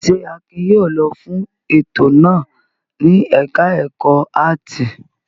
Ṣé Akin yóò lọ fún ètò náà ní ẹ̀ka-ẹ̀kọ́ áátì?